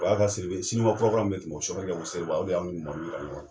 siribe kura kura min tɛmɛ o kɛ, ko Siriba, o de y'an yira ɲɔgɔn na.